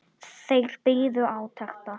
Þeir biðu átekta.